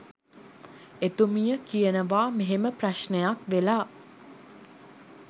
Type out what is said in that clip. එතුමිය කියනවා මෙහෙම ප්‍රශ්නයක් වෙලා